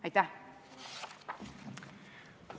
Aitäh!